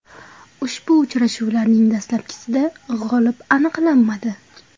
Ushbu uchrashuvlarning dastlabkisida g‘olib aniqlanmadi.